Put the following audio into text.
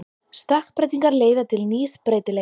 Stökkbreytingar leiða til nýs breytileika.